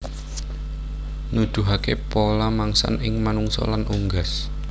nuduhaké pola mangsan ing manungsa lan unggas